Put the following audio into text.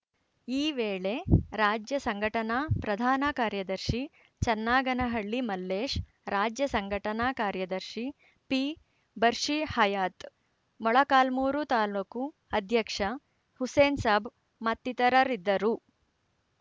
ಈ ವೇಳೆ ರಾಜ್ಯ ಸಂಘಟನಾ ಪ್ರಧಾನ ಕಾರ್ಯದರ್ಶಿ ಚನ್ನಾಗನಹಳ್ಳಿ ಮಲ್ಲೇಶ್‌ ರಾಜ್ಯ ಸಂಘಟನಾ ಕಾರ್ಯದರ್ಶಿ ಪಿಬಷೀರ್‌ ಹಯಾತ್‌ ಮೊಳಕಾಲ್ಮೂರು ತಾಲೂಕು ಅಧ್ಯಕ್ಷ ಹುಸೇನ್‌ ಸಾಬ್‌ ಮತ್ತಿತರರಿದ್ದರು